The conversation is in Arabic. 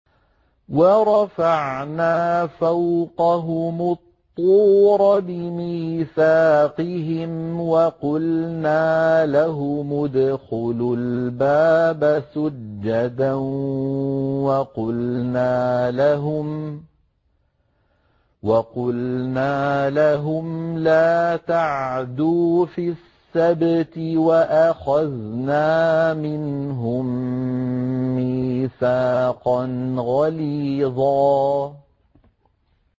وَرَفَعْنَا فَوْقَهُمُ الطُّورَ بِمِيثَاقِهِمْ وَقُلْنَا لَهُمُ ادْخُلُوا الْبَابَ سُجَّدًا وَقُلْنَا لَهُمْ لَا تَعْدُوا فِي السَّبْتِ وَأَخَذْنَا مِنْهُم مِّيثَاقًا غَلِيظًا